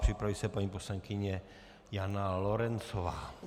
Připraví se paní poslankyně Jana Lorencová.